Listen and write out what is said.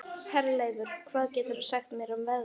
Herleifur, hvað geturðu sagt mér um veðrið?